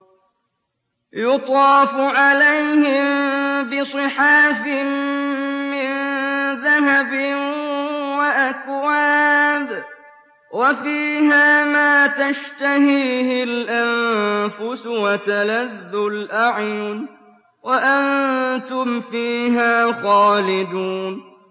يُطَافُ عَلَيْهِم بِصِحَافٍ مِّن ذَهَبٍ وَأَكْوَابٍ ۖ وَفِيهَا مَا تَشْتَهِيهِ الْأَنفُسُ وَتَلَذُّ الْأَعْيُنُ ۖ وَأَنتُمْ فِيهَا خَالِدُونَ